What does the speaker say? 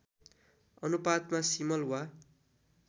अनुपातमा सिमल वा